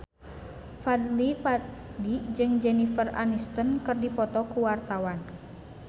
Fadly Padi jeung Jennifer Aniston keur dipoto ku wartawan